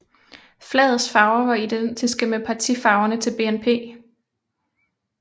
Flagets farver var identiske med partifarverne til BNP